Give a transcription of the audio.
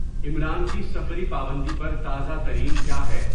عمران کی سفری پابندی پر تازہ ترین کیا ہے